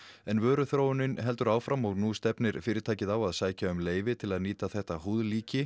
en vöruþróunin heldur áfram og nú stefnir fyrirtæki á að sækja um leyfi til að nýta þetta